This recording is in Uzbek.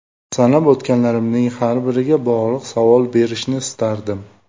Sanab o‘tganlarimning har biriga bog‘liq savol berishni istardim.